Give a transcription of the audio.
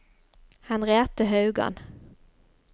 Henriette Haugan